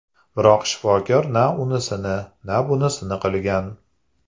Biroq shifokor na unisini, na bunisini qilgan.